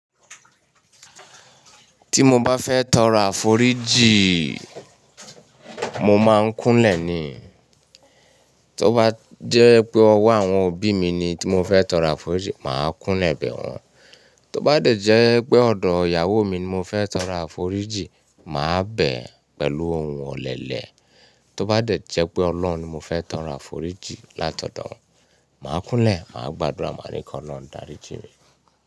Tí mo bá fẹ́ tọrọ àforíjìn, mo máa ń kúnlẹ̀ ni. Tó bá jẹ́ pé ọwọ́ àwọn òbí mi ni tí mo fẹ́ tọrọ àforíjìn, màá kúnlẹ̀ bẹ̀ wọ́n. Tó bá de jẹ́ pé ọ̀dọ̀ ìyàwó mi ni mo fẹ́ tọrọ àforíjìn, màá bẹ̀ pẹ̀lú ohùn ọlẹlẹ. Tó bá dẹ̀ jẹ́ pé Ọlọ́run ni mo fẹ́ tọrọ àforíjìn látọ̀dọ̀ rẹ̀ màá kúnlẹ̀ màá gba àdúà màá ní kí Ọlọ́run dáríjìn mí.